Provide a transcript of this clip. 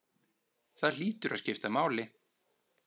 Það hlýtur að skipta máli?